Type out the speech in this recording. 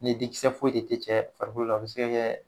Ni dikisɛ foyi de tɛ cɛ farikolo la o bɛ se ka kɛ